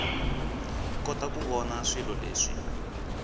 kota ku vona swilo leswi